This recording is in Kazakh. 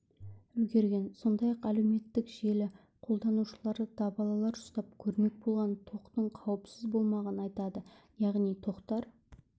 үлгерген сондай-ақ әлеуметтік желі қолданушылары дабалалар ұстап көрмек болған тоқтың қауіпсіз болмағанын айтады яғни тоқтар